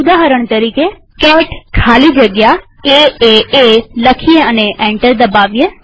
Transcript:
ઉદાહરણ તરીકેcat ખાલી જગ્યા એએ લખીએ અને એન્ટર દબાવીએ